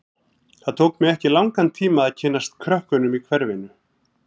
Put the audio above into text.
Það tók mig ekki langan tíma að kynnast krökkunum í hverfinu.